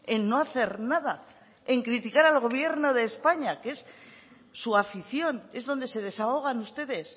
en no hacer nada en criticar al gobierno de españa que es su afición es donde se desahogan ustedes